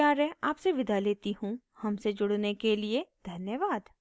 हमसे जुड़ने के लिए धन्यवाद